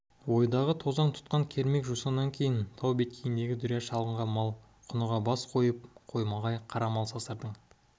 ойдағы тозаң тұтқан кермек жусаннан кейін тау беткейіндегі дүрия шалғынға мал құныға бас қойып қомағай қара мал сасырдың